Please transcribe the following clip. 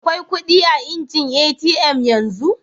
Akwai kudi a'injin ATM yanzu?